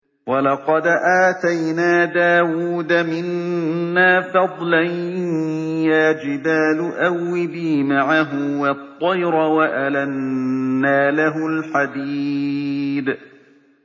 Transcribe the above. ۞ وَلَقَدْ آتَيْنَا دَاوُودَ مِنَّا فَضْلًا ۖ يَا جِبَالُ أَوِّبِي مَعَهُ وَالطَّيْرَ ۖ وَأَلَنَّا لَهُ الْحَدِيدَ